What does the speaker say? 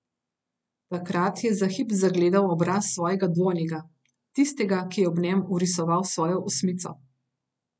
Takrat je za hip zagledal obraz svojega dvojnika, tistega, ki je ob njem vrisoval svojo osmico.